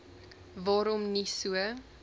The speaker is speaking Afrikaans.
waarom nie so